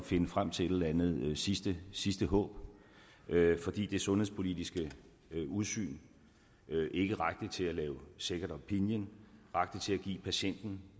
finde frem til et eller andet sidste sidste håb fordi det sundhedspolitiske udsyn ikke rakte til at lave second opinion rakte til at give patienten